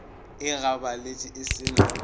e gabaletše e se na